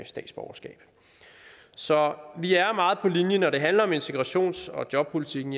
statsborgerskab så vi er meget på linje når det handler om integrations og jobpolitikken